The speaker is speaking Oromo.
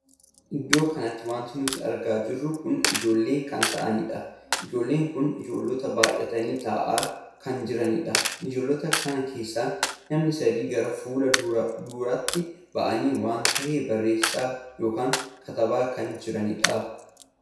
Iddoo kanatti wanti nuti argaa jirru kun ijoollotan kan taa'aniidha. ijoollonni kun ijoollota baay'atanii taa'aa kan jiraniidha. ijoollota kana keessa namni sadii gara fuula duraatti baa'anii waan tahee barreessaa ykn katabaa kan jiranidha.